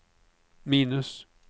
minus